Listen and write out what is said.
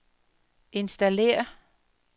installér